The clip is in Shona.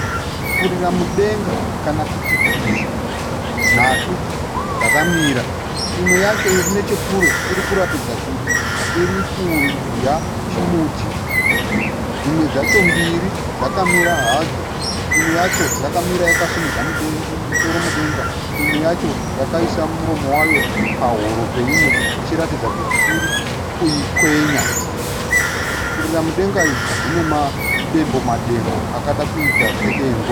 Furira mudenga kana kuti twiza nhatu dzakamira. Imwe yacho iri nechekure iri kuratidza kuti iri kudya chimuti. Dzimwe dzacho mbiri dzakamira hadzo. Imwe yacho yakamira yakasimudza musoro mudenga, imweyacho yakaisa muromo wayo pahuro peimwe ichiratidza kuti iri kuikwenya. Furira mudenga idzi dzine madembo -madembo akada kuita seengwe.